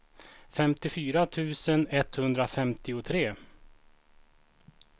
femtiofyra tusen etthundrafemtiotre